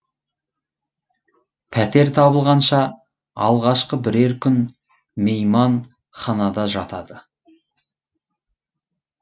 пәтер табылғанша алғашқы бірер күн мейманханада жатады